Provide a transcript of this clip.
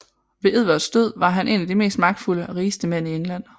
Ved Edvards død var han en af de mest magtfulde og rigeste mænd i England